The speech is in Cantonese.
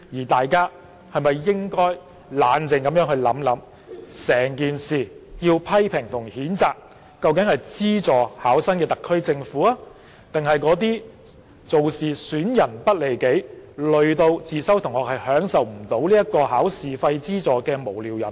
大家是否應該冷靜地想想，要批評和譴責的，究竟是資助考生的特區政府，還是那些意圖損人不利己、連累自修生未能受惠的無聊人呢？